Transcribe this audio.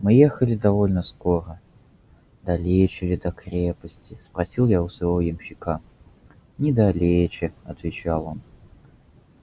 мы ехали довольно скоро далече ли до крепости спросил я у своего ямщика недалече отвечал он